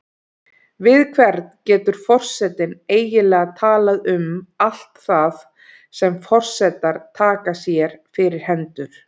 Við hvern getur forsetinn eiginlega talað um allt það sem forsetar taka sér fyrir hendur?